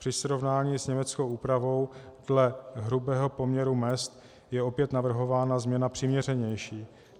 Při srovnání s německou úpravou dle hrubého poměru mezd je opět navrhována změna přiměřenější.